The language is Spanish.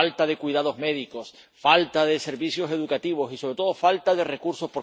falta de cuidados médicos, falta de servicios educativos y, sobre todo, falta de recursos.